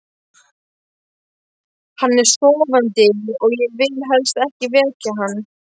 Hann er sofandi og ég vil helst ekki vekja hann.